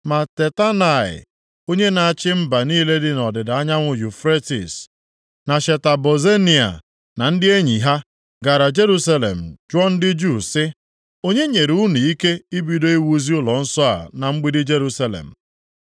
Ma Tatenai, onye na-achị mba niile dị nʼọdịda anyanwụ Yufretis, na Sheta Bozenai, na ndị enyi ha, gara Jerusalem jụọ ndị Juu sị; “Onye nyere unu ike ibido iwuzi ụlọnsọ a na mgbidi Jerusalem?”